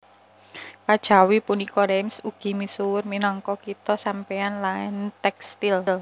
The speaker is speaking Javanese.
Kajawi punika Reims ugi misuwur minangka kitha sampanye lan tèkstil